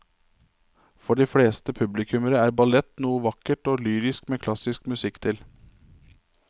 For de fleste publikummere er ballett noe vakkert og lyrisk med klassisk musikk til.